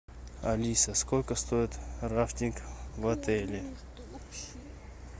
алиса сколько стоит рафтинг в отеле